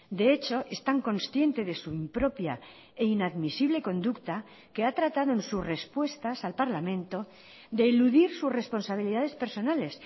de hecho es tan consciente de su impropia e inadmisible conducta que ha tratado en sus respuestas al parlamento de eludir sus responsabilidades personales